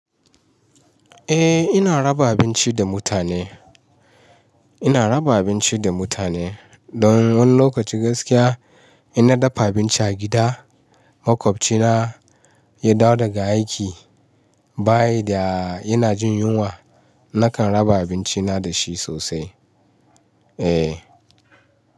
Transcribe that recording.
Eh ina raba abinci da mutane. Ina raba abinci da mutane. Don wani lokaci gaskiya ina dafa abinci a gida, makwabcina ya dawo daga aiki, bayan da yana jin yunwa nakan raba abinci na da shi sosai. Eh.